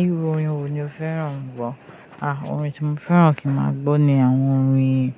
Irú orin wo ni o fẹ́ràn gbọ́? Ah orin tí mo fẹ́ràn kí máa gbọ́ ni àwọn orin,